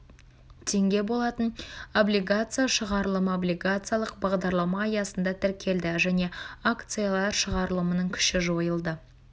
теңге болатын облигация шығарылымы облигациялық бадарлама аясында тіркелді және акциялар шығарылымының күші жойылды